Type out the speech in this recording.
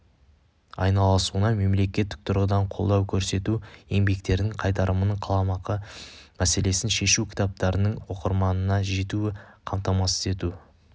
айналысуына мемлекеттік тұрғыдан қолдау көрсету еңбектерінің қайтарымын қаламақы мәселесін шешу кітаптарының оқырманына жетуін қамтамасыз ету